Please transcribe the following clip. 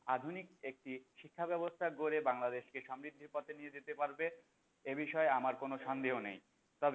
আধুনিক একটি শিক্ষা ব্যাবস্থা গড়ে বাংলাদেশকে সমৃদ্ধির পথে নিয়ে যাতে পারবে এ বিষয়ে আমার কোন সন্দেহ নেই তবে